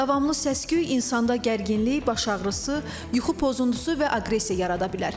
Davamlı səs-küy insanda gərginlik, baş ağrısı, yuxu pozuntusu və aqressiya yarada bilər.